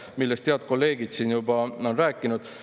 Sellest on head kolleegid siin juba rääkinud.